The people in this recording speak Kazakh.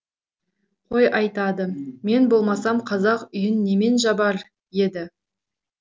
қой айтады мен болмасам қазақ үйін немен жабар еді